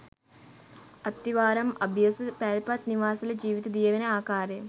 අත්තිවාරම් අභියස පැල්පත් නිවාස වල ජීවිත දියවෙන ආකාරය